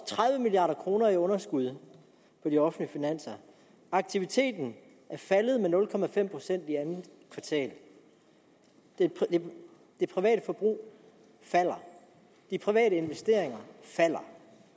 tredive milliard kroner i underskud på de offentlige finanser aktiviteten er faldet med nul procent i andet kvartal det private forbrug falder de private investeringer falder